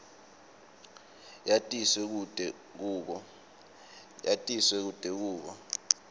yatiswe kute kube